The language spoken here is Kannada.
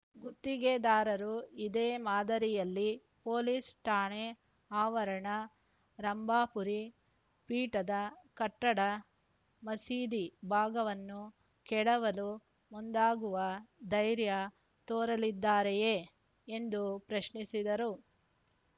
ಗುತ್ತಿಗೆದಾರರು ಇದೇ ಮಾದರಿಯಲ್ಲಿ ಪೊಲೀಸ್‌ ಠಾಣೆ ಆವರಣ ರಂಭಾಪುರಿ ಪೀಠದ ಕಟ್ಟಡ ಮಸೀದಿ ಭಾಗವನ್ನು ಕೆಡವಲು ಮುಂದಾಗುವ ಧೈರ್ಯ ತೋರಲಿದ್ದಾರೆಯೇ ಎಂದು ಪ್ರಶ್ನಿಸಿದರು